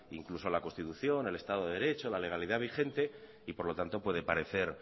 incluso la constitución el estado de derecho la legalidad vigente y por lo tanto puede parece